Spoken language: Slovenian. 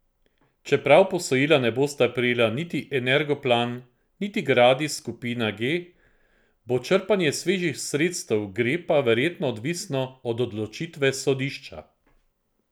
Čeprav posojila ne bosta prejela niti Energoplan niti Gradis Skupina G, bo črpanje svežih sredstev Grepa verjetno odvisno od odločitve sodišča.